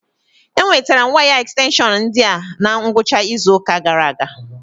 Enwetara m waya ekstenshọn ndi a na ngwụcha izu ụka gara aga